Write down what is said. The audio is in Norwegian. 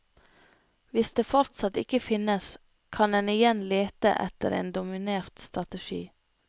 Hvis det fortsatt ikke finnes, kan en igjen lete etter en dominert strategi.